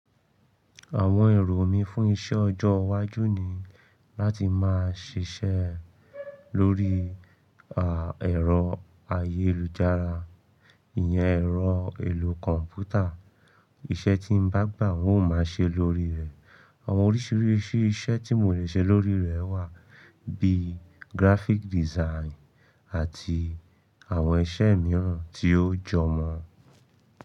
Àwọn èrò mí fún iṣẹ́ ọjọ́ iwájú ni láti máa ṣiṣẹ́ lórí à, ẹ̀rọ ayélujára, ìyẹn ẹ̀rọ ìlú kọ̀m̀pútà. Iṣẹ́ tí n bá gbà wọ́n máa ṣe lórí rẹ̀. Àwọn oríṣiríṣi iṣẹ́ tí mo le ṣe lórí rẹ̀ wà bíi graphic design àti àwọn iṣẹ́ mìíràn tí ó jọ mọ.